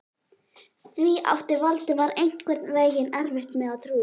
Því átti Valdimar einhvern veginn erfitt með að trúa.